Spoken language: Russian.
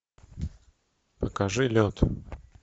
покажи лед